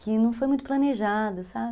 Que não foi muito planejado, sabe?